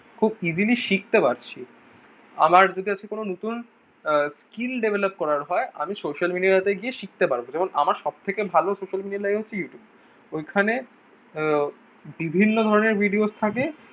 খুব easily শিখতে পারছি আমার বিকাশে নতুন skill develop করা হয় আমি social media তে গিয়ে শিখতে পারবো যেমন আমার সবথেকে ভালো social media line হলো Youtube ওই খানে আহ বিভিন্ন ধরণের videos থাকে